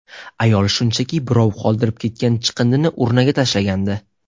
Ayol shunchaki birov qoldirib ketgan chiqindini urnaga tashlagandi.